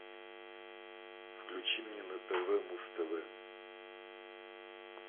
включи мне на тв муз тв